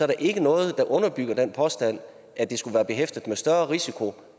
der ikke er noget der underbygger den påstand at det skulle være behæftet med en større risiko